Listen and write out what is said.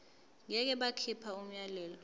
ngeke bakhipha umyalelo